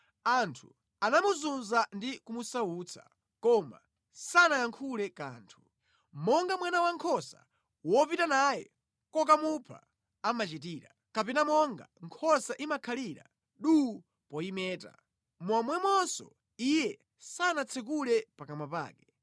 Anthu anamuzunza ndi kumusautsa, koma sanayankhule kanthu. Monga mwana wankhosa wopita naye kokamupha amachitira, kapena monga nkhosa imakhalira duu poyimeta, momwemonso iye sanatsekule pakamwa pake.